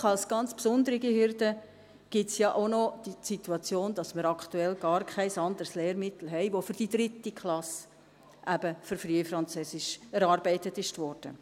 Schliesslich, und als ganz besondere Hürde, gibt es ja auch noch die Situation, dass wir aktuell gar kein anderes Lehrmittel haben, welches für die 3. Klasse, eben für Frühfranzösisch, erarbeitet wurde.